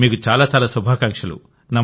మీకు చాలా చాలా శుభాకాంక్షలు